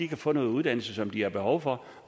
kan få noget uddannelse som de har behov for